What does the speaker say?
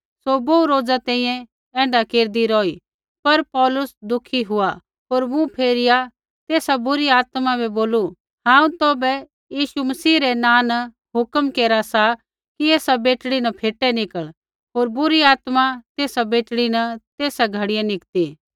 सौ बोहू रोज़ा तैंईंयैं ऐण्ढा केरदी रौही पर पौलुस दुखी हुआ होर मुँह फेरिया तेसा बुरी आत्मा बै बोलू हांऊँ तौभै यीशु मसीह रै नाँ न हुक्म केरा सा कि एसा बेटड़ी न फ़ेटै निकल़ होर बुरी आत्मा तेसा बेटड़ी न तेसा घड़ियै निकती